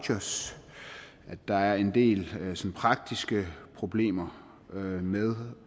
at der er en del praktiske problemer med